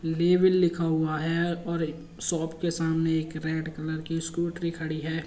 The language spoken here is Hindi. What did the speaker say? लेविल लिखा हुआ है और एक शॉप के सामने एक रेड कलर की स्कूटी खड़ी है।